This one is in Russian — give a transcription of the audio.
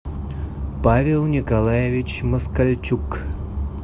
павел николаевич москальчук